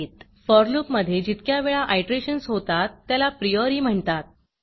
four loopफॉर loop मधे जितक्या वेळा आयटरेशन्स होतात त्याला prioriप्रिओरी म्हणतात